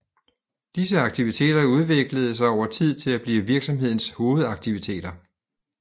Disse aktiviteter udviklede sig over tid til at blive virksomhedens hovedaktiviteter